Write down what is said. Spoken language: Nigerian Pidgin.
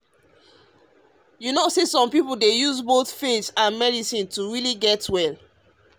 you know say some people dey some people dey use both faith and medicine to really get well.